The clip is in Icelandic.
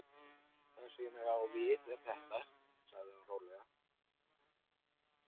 Það sem ég á við er þetta, sagði hann rólega.